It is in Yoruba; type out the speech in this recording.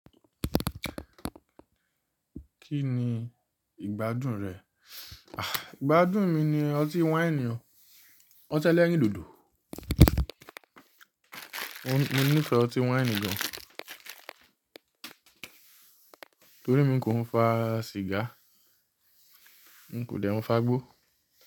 Kí ni ìgbádùn rẹ̀? Àh! Ìgbádùn mi ni ọtí wáìnì o. Ọtí ẹlẹ́rìndòdò. Mo ní ìfẹ́ ọtí wáìnì gán torí mi kò ń fa sìgá, n kò dẹ̀ ń fagbó.